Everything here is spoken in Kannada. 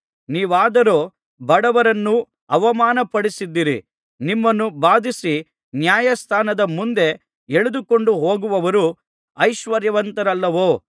ನೀವಾದರೋ ಬಡವರನ್ನು ಅವಮಾನಪಡಿಸಿದ್ದೀರಿ ನಿಮ್ಮನ್ನು ಬಾಧಿಸಿ ನ್ಯಾಯಸ್ಥಾನದ ಮುಂದೆ ಎಳೆದುಕೊಂಡು ಹೋಗುವವರು ಐಶ್ವರ್ಯವಂತರಲ್ಲವೋ